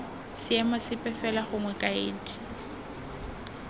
seemo sepe fela gongwe kaedi